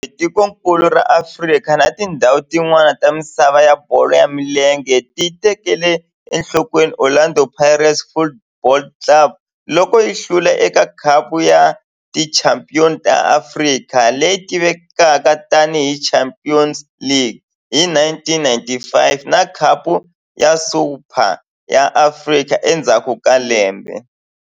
Kambe tikonkulu ra Afrika na tindzhawu tin'wana ta misava ya bolo ya milenge ti tekele enhlokweni Orlando Pirates Football Club loko yi hlula eka Khapu ya Tichampion ta Afrika, leyi tivekaka tani hi Champions League, hi 1995 na Khapu ya Super ya Afrika endzhaku ka lembe.